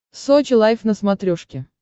сочи лайф на смотрешке